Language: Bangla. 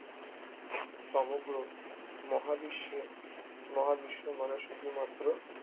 সমগ্র মহাবিশ্বের মহাবিশ্ব মানে শুধুমাত্র